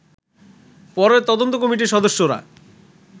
পরে তদন্ত কমিটির সদস্যরা